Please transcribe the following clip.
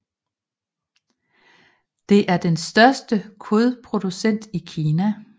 Det er den største kødproducent i Kina